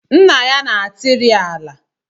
Nna ya na-atịrị ala